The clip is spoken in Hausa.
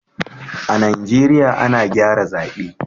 a'Nijeriya ana gyara zabe.